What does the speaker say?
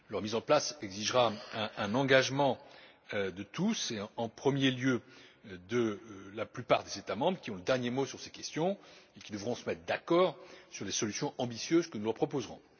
Leur mise en place exigera un engagement de tous et, en premier lieu, de la plupart des États membres, qui ont le dernier mot sur ces questions et qui devront se mettre d'accord sur les solutions ambitieuses que nous leur proposerons.